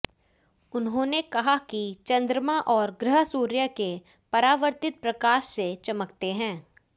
उन्होंने कहा कि चंद्रमा और ग्रह सूर्य के परावर्तित प्रकाश से चमकते हैं